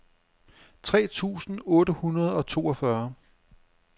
tre tusind otte hundrede og toogfyrre